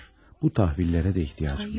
Bu təhvillerə də ehtiyacım yox.